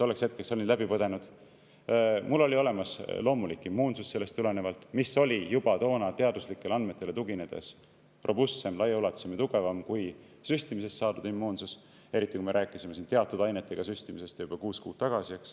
Mul oli sellest tulenevalt olemas loomulik immuunsus, mis oli juba toona teaduslikele andmetele tuginedes robustsem, laiaulatuslikum ja tugevam kui süstimisest saadud immuunsus, eriti kui me rääkisime teatud ainetega süstimisest juba kuus kuud varem.